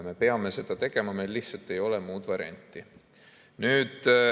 Me peame seda tegema, meil lihtsalt ei ole muud varianti.